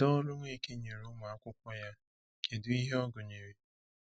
Kedu ọrụ Nweke nyere ụmụ akwụkwọ ya, kedu ihe ọ gụnyere?